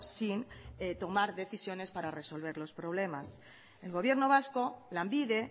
sin tomar decisiones para resolver los problemas el gobierno vasco lanbide